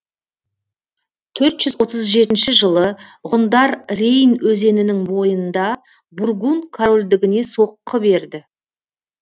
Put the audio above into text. төрт жүз отыз жетінші жылы ғұндар рейн өзенінің бойында бургун корольдігіне соққы берді